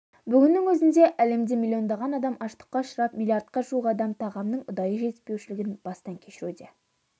бүгіннің өзінде әлемде миллиондаған адам аштыққа ұшырап миллиардқа жуық адам тағамның ұдайы жетіспеушілігін бастан кешіруде